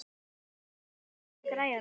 Bergrán, hækkaðu í græjunum.